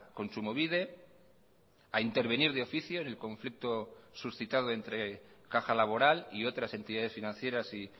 kontsumobide a intervenir de oficio en el conflicto suscitado entre caja laboral y otras entidades financieras y